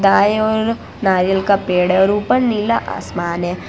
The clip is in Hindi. दाई ओर नारियल का पेड़ है और ऊपर नीला आसमान हैं।